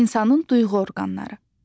İnsanın duyğu orqanları.